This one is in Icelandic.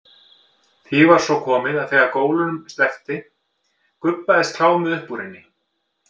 Því var svo komið að þegar gólunum sleppti gubbaðist klámið upp úr henni.